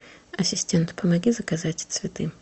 ассистент помоги заказать цветы